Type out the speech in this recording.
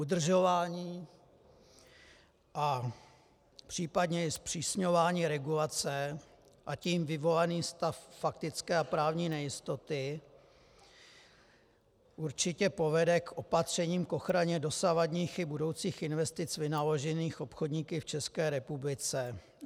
Udržování a případně i zpřísňování regulace, a tím vyvolaný stav faktické a právní nejistoty určitě povede k opatřením k ochraně dosavadních i budoucích investic vynaložených obchodníky v České republice.